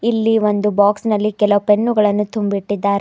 ಇಲ್ಲಿ ಒಂದು ಬಾಕ್ಸ್ ನಲ್ಲಿ ಕೆಲ ಪೆನ್ನುಗಳನ್ನು ತುಂಬಿ ಇಟ್ಟಿದ್ದಾರೆ.